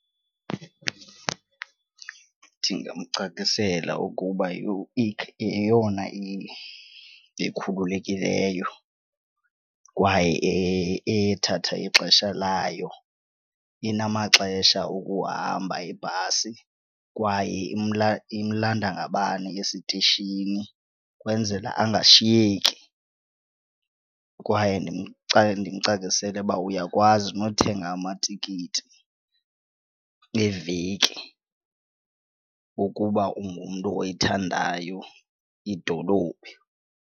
Ndingamcacisela ukuba yeyona ikhululekileyo kwaye ethatha ixesha layo. Inamaxesha okuhamba ibhasi kwaye imlanda ngabani esitishini ukwenzela angashiyeki, kwaye ndimcacisele uba uyakwazi nothenga amatikiti eveki ukuba ungumntu oyithandayo idolophi.